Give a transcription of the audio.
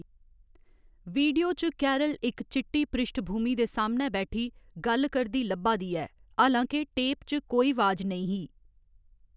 Video च, Carol इक चिट्टी पृश्ठभूमि दे सामनै बैठी, गल्ल करदी लब्भा दी ऐ, हालां के टेप च कोई आवाज नेईं ही।